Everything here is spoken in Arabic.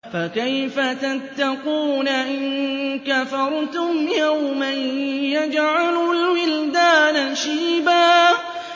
فَكَيْفَ تَتَّقُونَ إِن كَفَرْتُمْ يَوْمًا يَجْعَلُ الْوِلْدَانَ شِيبًا